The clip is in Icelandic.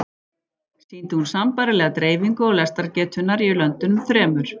Sýndi hún sambærilega dreifingu lestrargetunnar í löndunum þremur.